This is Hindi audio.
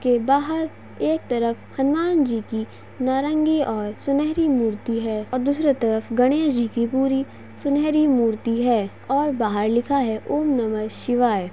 इसके बाहर एक तरफ हनुमान जी की नारंगी और सुनहरी मूर्ति है और दूसरे तरफ गणेश जी की पूरी सुनहरी मूर्ति है और बाहर लिखा है ॐ नमः शिवाय।